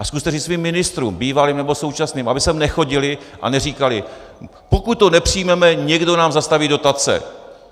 A zkuste říct svým ministrům, bývalým nebo současným, aby sem nechodili a neříkali: pokud to nepřijmeme, někdo nám zastaví dotace.